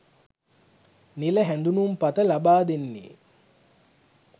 නිල හැඳුනුම්පත ලබාදෙන්නේ